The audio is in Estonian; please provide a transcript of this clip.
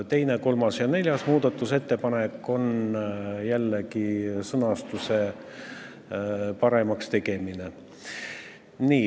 Teine, kolmas ja neljas muudatusettepanek on jällegi sõnastuse paremaks tegemine.